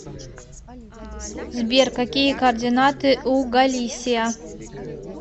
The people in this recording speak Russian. сбер какие координаты у галисия